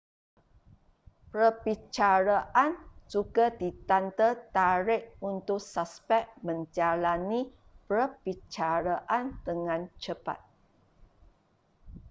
perbicaraan juga ditanda tarikh untuk suspek menjalani perbicaraan dengan cepat